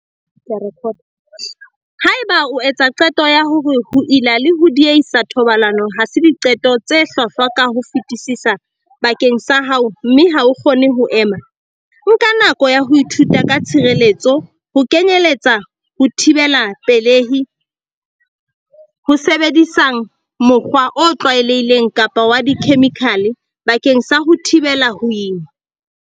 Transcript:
Haeba o etsa qeto ya hore ho ila le ho diehisa thobalano ha se diqeto tse hlwahlwa ka ho fetisisa bakeng sa hao mme ha o kgone ho ema, nka nako ya ho ithuta ka tshireletso, ho kenyeletsa ho thibela pelehi, ho sebedisang mokgwa o tlwaelehileng kapa wa dikhemikhale bakeng sa ho thibela ho ima.